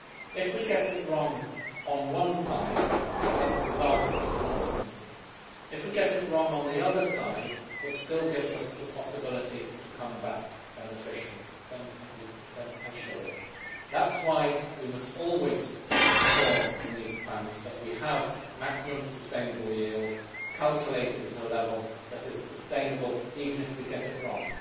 If we get it wrong on one side it has disastrous consequences. If we get it wrong on the other side it still gives us the possibility to come back beneficially. That is why we must always ensure in these plans that we have maximum sustainable yield calculated at a level that is sustainable, even if we get it wrong.